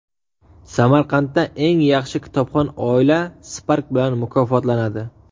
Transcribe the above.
Samarqandda eng yaxshi kitobxon oila Spark bilan mukofotlanadi.